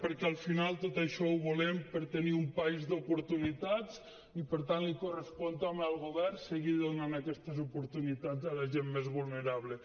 perquè al final tot això ho volem per a tenir un país d’oportunitats i per tant li correspon també al govern seguir donant aquestes oportunitats a la gent més vulnerable